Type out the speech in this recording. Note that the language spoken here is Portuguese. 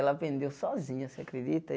Ela aprendeu sozinha, você acredita?